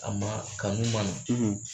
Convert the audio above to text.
A man kanu man na.